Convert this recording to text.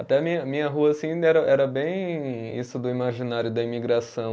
Até a minha, minha rua assim era bem isso do imaginário da imigração.